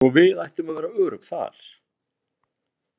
Svo við ættum að vera örugg þar?